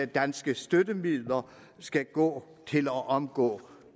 danske støttemidler skal gå til at omgå